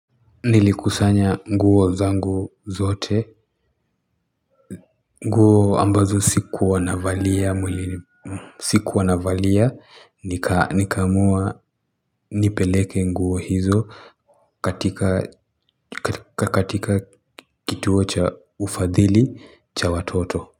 Nilikusanya nguo zangu zote nguo ambazo siku wanavalia siku wanavalia nikamua nipeleke nguo hizo katika kituo cha ufadhili cha watoto.